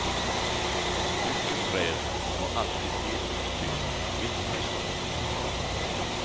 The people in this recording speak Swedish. Mycket träd och alltid helt tyst, mitt i stan.